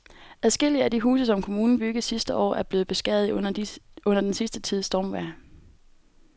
Adskillige af de huse, som kommunen byggede sidste år, er blevet beskadiget under den sidste tids stormvejr.